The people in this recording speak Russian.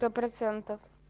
сто процентов